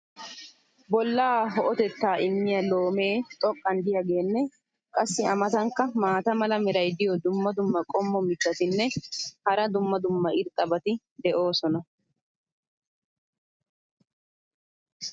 bolaa ho"otettaa immiya loomee xoqqan diyaageenne qassi a matankka maata mala meray diyo dumma dumma qommo mitattinne hara dumma dumma irxxabati de'oosona.